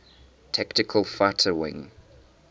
tactical fighter wing